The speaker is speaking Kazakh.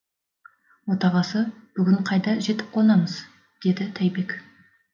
отағасы бүгін қайда жетіп қонамыз деді тәйбек